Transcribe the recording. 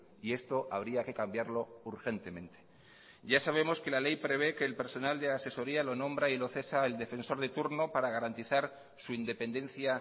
y esto habría que cambiarlo urgentemente ya sabemos que la ley prevé que el personal de asesoría lo nombra y lo cesa el defensor de turno para garantizar su independencia